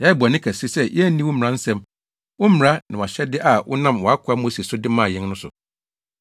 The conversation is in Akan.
Yɛayɛ bɔne kɛse sɛ yɛanni wo mmara nsɛm, wo mmara, ne wʼahyɛde a wonam wʼakoa Mose so de maa yɛn no so.